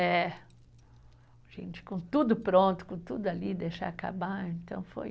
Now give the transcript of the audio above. É, gente, com tudo pronto, com tudo ali, deixar acabar, então foi.